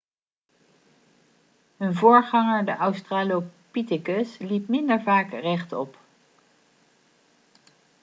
hun voorganger de australopithecus liep minder vaak rechtop